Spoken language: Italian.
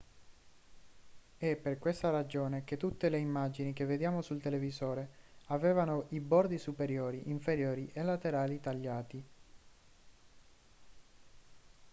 è per questa ragione che tutte le immagini che vediamo sul televisore avevano i bordi superiori inferiori e laterali tagliati